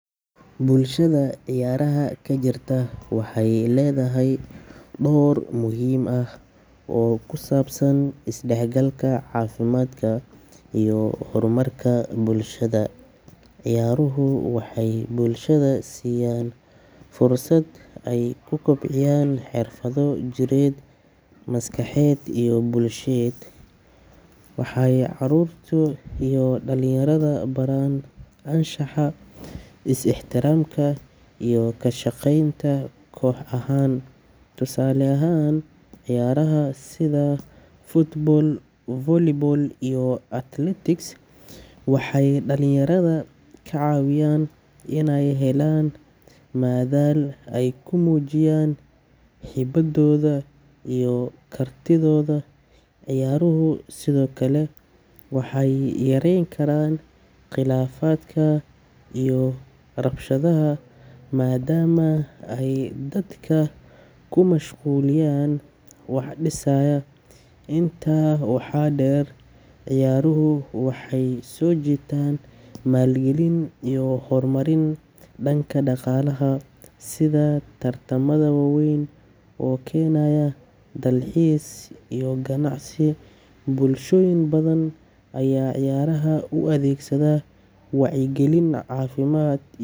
Bulshada ciyaaraha ka jirta waxay leedahay door muhiim ah oo ku saabsan isdhexgalka, caafimaadka, iyo horumarka bulshada. Ciyaaruhu waxay bulshada siiyaan fursad ay ku kobciyaan xirfado jireed, maskaxeed iyo bulsheed. Waxay carruurta iyo dhalinyarada baraan anshaxa, is ixtiraamka, iyo ka shaqeynta koox ahaan. Tusaale ahaan, ciyaaraha sida football, volleyball, iyo athletics waxay dhallinyarada ka caawiyaan inay helaan madal ay ku muujiyaan hibadooda iyo kartidooda. Ciyaaruhu sidoo kale waxay yarayn karaan khilaafaadka iyo rabshadaha maadaama ay dadka ku mashquuliyaan wax dhisaya. Intaa waxaa dheer, ciyaaruhu waxay soo jiitaan maalgelin iyo horumarin dhanka dhaqaalaha sida tartamada waaweyn oo keenaya dalxiis iyo ganacsi. Bulshooyin badan ayaa ciyaaraha u adeegsada wacyigelin, caafimaad.